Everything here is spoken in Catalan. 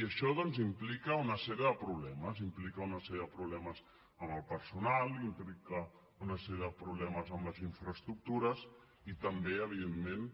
i això doncs implica una sèrie de problemes implica una sèrie de problemes amb el personal implica una sèrie de problemes amb les infraestructures i també evidentment